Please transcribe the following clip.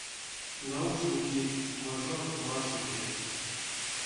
наушники мажор маршал три